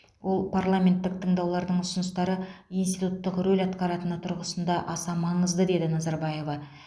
ол парламенттік тыңдаулардың ұсыныстары институттық рөл атқаратыны тұрғысында аса маңызды деді назарбаева